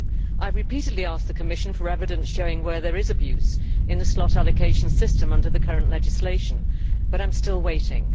I repeatedly asked the Commission for evidence showing where there is abuse in the slot allocation system under the current legislation, but I am still waiting.